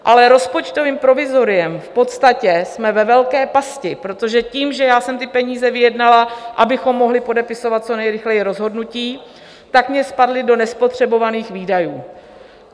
Ale rozpočtovým provizoriem v podstatě jsme ve velké pasti, protože tím, že já jsem ty peníze vyjednala, abychom mohli podepisovat co nejrychleji rozhodnutí, tak mi spadly do nespotřebovaných výdajů.